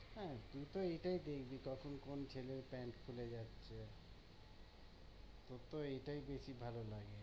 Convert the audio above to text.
হ্যাঁ তুই তো এইটাই দেখবি কখন কোন ছেলের pant খুলে যাচ্ছে তোর তো এইটাই বেশি ভালো লাগবে